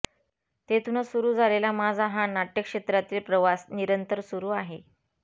तेथूनच सुरु झालेला माझा हा नाटय़क्षेत्रातील प्रवास निरंतर सुरु आहे